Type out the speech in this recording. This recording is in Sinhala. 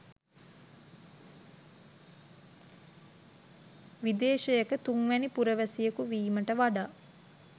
විදේශයක තුන්වැනි පුරවැසියකු වීමට වඩා